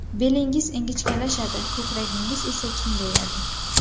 Belingiz ingichkalashadi, ko‘kragingiz esa kengayadi.